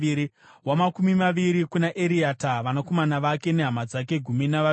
wamakumi maviri kuna Eriata, vanakomana vake nehama dzake—gumi navaviri;